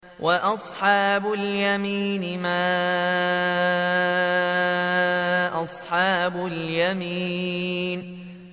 وَأَصْحَابُ الْيَمِينِ مَا أَصْحَابُ الْيَمِينِ